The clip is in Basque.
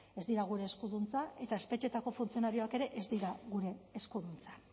ez dira gure eskuduntza eta espetxeetako funtzionarioak ere ez dira gure eskuduntza